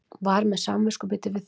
Var með samviskubit yfir því.